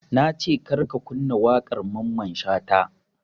Nace kar ka kunna waƙar mamman shata